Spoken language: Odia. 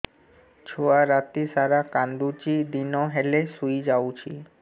ଛୁଆ ରାତି ସାରା କାନ୍ଦୁଚି ଦିନ ହେଲେ ଶୁଇଯାଉଛି